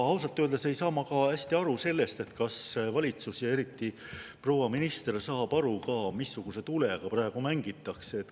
Ausalt öeldes ei saa ma hästi aru ka sellest, kas valitsus, eriti proua minister, saab aru, missuguse tulega praegu mängitakse.